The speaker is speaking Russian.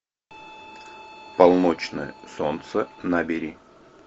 полночное солнце набери